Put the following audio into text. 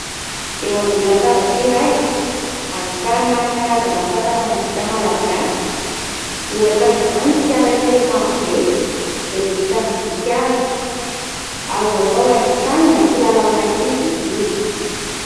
Eo ambonin'ny latabatra iray ahitana karazana asa-tanana vita malagasy. Ohatra amin'izany : ny fiara kely marobe izay vita amin'ny vy sy hazo, azo atao haingon-trano na kilalao an ' ankizy izy io.